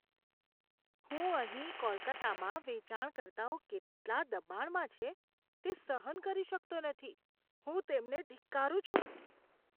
હું અહીં કોલકાતામાં વેચાણકર્તાઓ કેટલા દબાણમાં છે, તે સહન કરી શકતો નથી. હું તેમને ધિક્કારું છું.